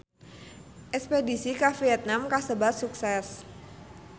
Espedisi ka Vietman kasebat sukses